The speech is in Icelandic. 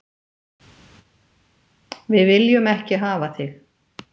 Við viljum ekki hafa þig.